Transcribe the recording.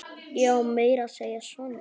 Já, meira að segja Sonja.